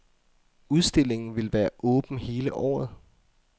Udstillingen vil være åben hele året.